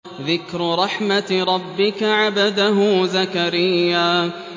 ذِكْرُ رَحْمَتِ رَبِّكَ عَبْدَهُ زَكَرِيَّا